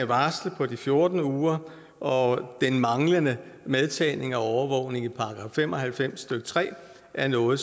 varslet på fjorten uger og den manglende medtagning af overvågning i § fem og halvfems stykke tre er noget